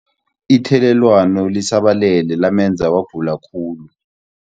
Ithelelwano lisabalele lamenza wagula khulu.